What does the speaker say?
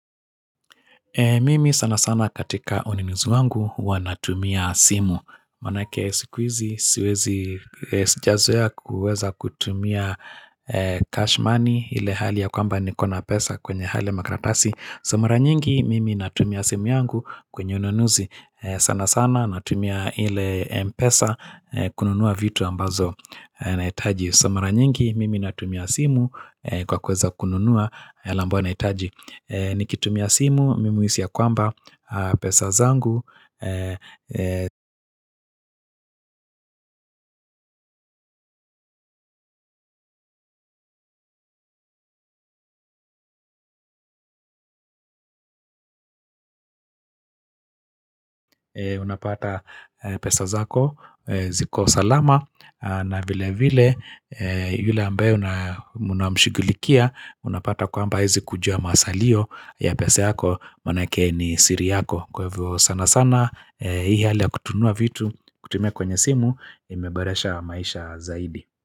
Mimi sana sana katika ununuzi wangu huwa natumia simu. Manake sikuhizi siwezi jazwea kuweza kutumia cash money ile hali ya kwamba nikona pesa kwenye hali makratasi. Sa mara nyingi, mimi natumia simu yangu kwenye unonuzi. Sana sana natumia ile mpesa kununua vitu ambazo nahitaji. Sa mara nyingi, mimi natumia simu kwa kuweza kununua yale ambayo nahitaji. Nikitumia simu, mimuisi ya kwamba pesa zangu, unapata pesa zako, ziko salama, na vile vile, yule ambaye unamshughulikia, unapata kwamba hawezi kujua masalio ya pesa yako, manake ni siri yako. Kwa hivyvo sana sana, hii hali ya kutununja vitu, kutumia kwenye simu imeboresha maisha zaidi.